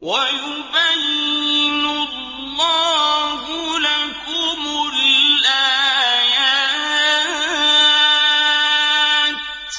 وَيُبَيِّنُ اللَّهُ لَكُمُ الْآيَاتِ ۚ